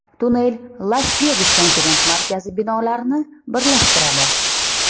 Tunnel Las-Vegas konferens markazi binolarini birlashtiradi.